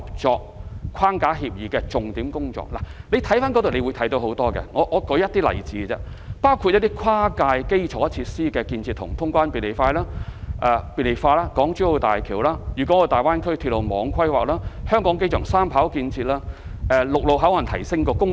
這份協議的內容多元多樣，我舉出一些例子，包括：跨界基礎設施的建設及通關便利化、港珠澳大橋、粵港澳大灣區鐵路網規劃、香港機場第三跑道建設、提升深港陸路口岸功能。